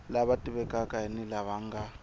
lava tivekaka ni lava nga